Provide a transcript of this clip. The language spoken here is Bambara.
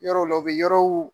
Yɔrɔw le, u bi yɔrɔw